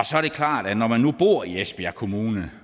så er det klart at når man nu bor i esbjerg kommune